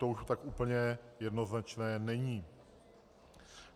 To už tak úplně jednoznačné není.